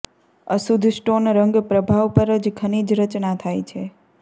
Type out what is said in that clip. અશુદ્ધ સ્ટોન રંગ પ્રભાવ પર ખનિજ રચના થાય છે